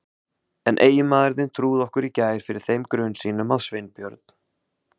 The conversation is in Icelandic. En eiginmaður þinn trúði okkur í gær fyrir þeim grun sínum að Sveinbjörn